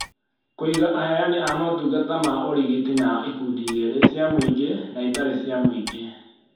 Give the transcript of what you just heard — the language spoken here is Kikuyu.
Kũiga aheani a motungata ma ũrigiti na ikundi igĩrĩ; cia mũingĩ na itarĩ cia mũingĩ